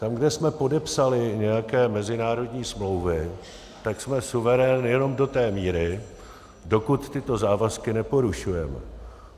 Tam, kde jsme podepsali nějaké mezinárodní smlouvy, tak jsme suverén jenom do té míry, dokud tyto závazky neporušujeme.